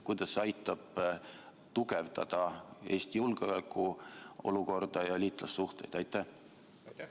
Kuidas see aitab tugevdada Eesti julgeolekuolukorda ja liitlassuhteid?